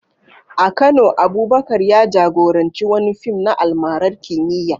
A Kano, Abubakar ya jagoranci wani fim na almarar kimiyya